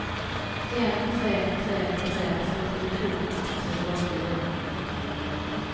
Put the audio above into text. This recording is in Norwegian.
en tre tre tre førtito ett hundre og fire